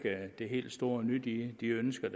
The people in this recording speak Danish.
det helt store nye i de ønsker